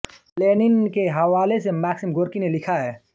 Lenin के हवाले से मैक्सिम गोर्की ने लिखा है